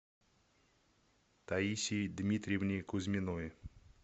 таисии дмитриевне кузьминой